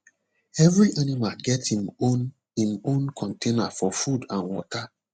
every animal get im own im own container for food and water